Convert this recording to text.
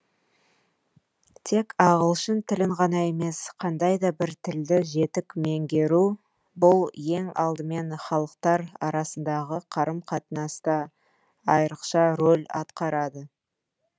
тек ағылшын тілін ғана емес қандай да бір тілді жетік меңгеру бұл ең алдымен халықтар арасындағы қарым қатынаста айрықша рөл атқарады